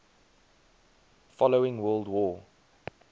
following world war